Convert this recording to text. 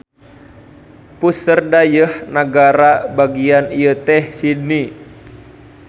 Puseur dayeuh nagara bagian ieu teh Sydney.